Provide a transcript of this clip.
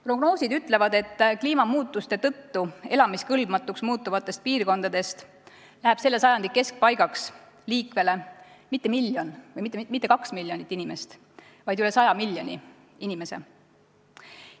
Prognoosid ütlevad, et kliimamuutuste tõttu elamiskõlbmatuks muutuvatest piirkondadest läheb selle sajandi keskpaigaks liikvele mitte miljon või mitte kaks miljonit inimest, vaid üle 100 miljoni inimese.